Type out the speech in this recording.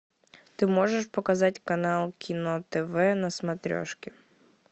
ты можешь показать канал кино тв на смотрешке